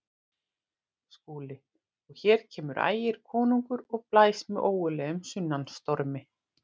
SKÚLI: Og hér kemur Ægir konungur og blæs með ógurlegum sunnanstormi.